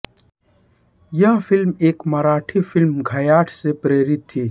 यह फ़िल्म एक मराठी फिल्म घायाळ से प्रेरित थी